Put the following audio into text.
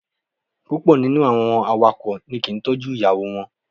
Púpọ̀ nínú àwọn awakọ̀ ni kì í tọ́jú ìyàwó wọn.